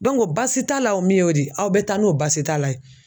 basi t'a la o min y'o de aw bɛ taa n'o basi t'a la ye.